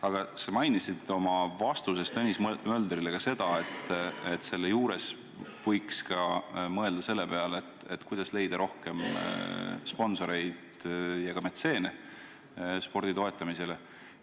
Aga sa mainisid oma vastuses Tõnis Möldrile ka seda, et võiks ka mõelda selle peale, kuidas leida rohkem sponsoreid ja metseene spordi toetamiseks.